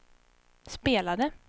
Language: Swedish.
spelade